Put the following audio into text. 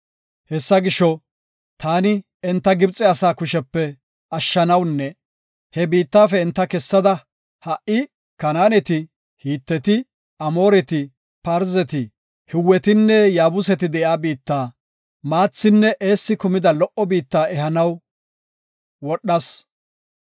Hessa gisho, taani enta Gibxe asaa kushepe ashshanawunne he biittafe enta kessada, ha77i Kanaaneti, Hiteti, Amooreti, Parzeti, Hiwetinne Yaabuseti de7iya biitta, maathinne eessi kumida lo77o biitta ehanaw wodhas.